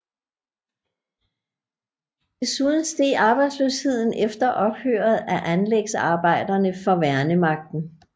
Desuden steg arbejdsløsheden efter ophøret af anlægsarbejderne for værnemagten